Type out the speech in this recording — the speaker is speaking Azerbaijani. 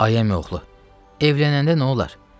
Ay əmioğlu, evlənəndə nə olar?